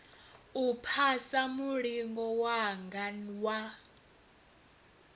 u phasa mulingo wanga wa